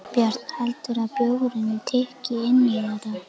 Björn: Heldurðu að bjórinn tikki inn í þetta?